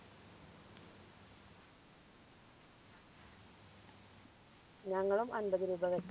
ഞങ്ങളും അമ്പത് രൂപ വെ